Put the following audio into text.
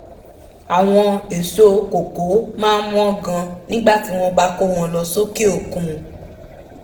àwọn èso koko máa wọ́n gan nígbà tí wọ́n bá kó wọn lọ sókè òkun